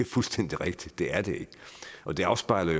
fuldstændig rigtigt det er det ikke og det afspejler